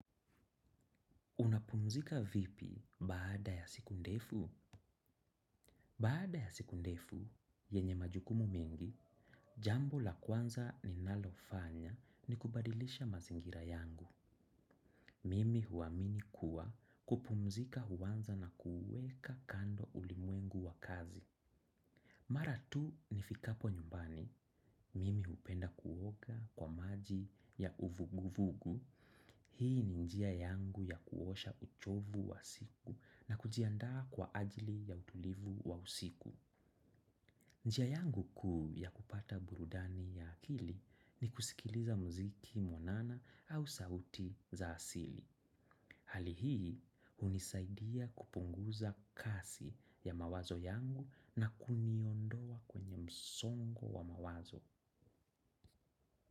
Unapumzika vipi baada ya siku ndefu? Baada ya siku ndefu, yenye majukumu mengi, jambo la kwanza ninalofanya ni kubadilisha mazingira yangu. Mimi huamini kuwa kupumzika huanza na kuuweka kando ulimwengu wa kazi. Mara tu nifikapo nyumbani, mimi hupenda kuoga kwa maji ya uvugu vugu. Hii ni njia yangu ya kuosha uchovu wa siku na kujiandaa kwa ajili ya utulivu wa usiku. Njia yangu kuu ya kupata burudani ya akili ni kusikiliza muziki mwanana au sauti za asili. Hali hii hunisaidia kupunguza kasi ya mawazo yangu na kuniondoa kwenye msongo wa mawazo.